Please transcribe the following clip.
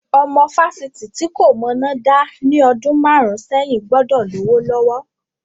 Ọmọ fásitì tí kò mọná dá ní ọdún márùn-ún sẹ́yìn gbọ́dọ̀ lówó lọ́wọ́.